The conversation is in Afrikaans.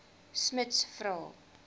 smuts vra